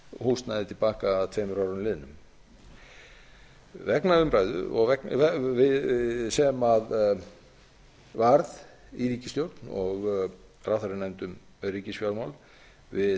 húsnæði til baka að tveimur árum liðnum vegna umræðu sem varð í ríkisstjórn og ráðherranefnd um ríkisfjármál við